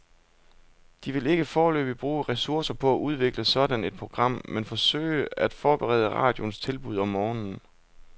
De vil ikke foreløbig bruge ressourcer på at udvikle sådan et program, men forsøge at forbedre radioens tilbud om morgenen.